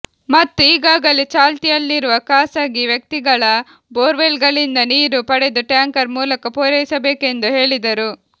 ಮತ್ತು ಈಗಾಗಲೇ ಚಾಲ್ತಿಯಲ್ಲಿರುವ ಖಾಸಗಿ ವ್ಯಕ್ತಿಗಳ ಬೋರ್ವೆಲ್ಗಳಿಂದ ನೀರು ಪಡೆದು ಟ್ಯಾಂಕರ್ ಮೂಲಕ ಪೂರೈಸಬೇಕೆಂದು ಹೇಳಿದರು